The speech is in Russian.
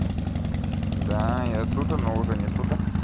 да я тут она уже нет тута